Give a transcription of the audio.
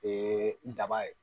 daba ye.